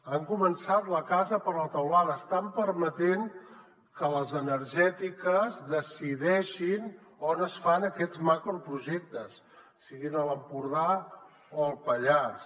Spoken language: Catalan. han començat la casa per la teulada estan permetent que les energètiques decideixin on es fan aquests macroprojectes siguin a l’empordà o al pallars